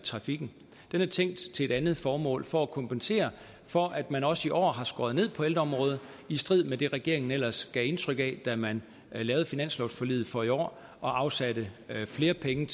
i trafikken den er tænkt til et andet formål nemlig for at kompensere for at man også i år har skåret ned på ældreområdet i strid med det regeringen ellers gav indtryk af da man lavede finanslovsforliget for i år og afsatte flere penge